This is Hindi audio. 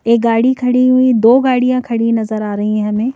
एक गाड़ी खड़ी हुई दो गाड़ियां खड़ी नजर आ रही हैं हमें --